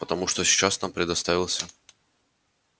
потому что сейчас нам предоставился